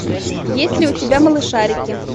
есть ли у тебя малышарики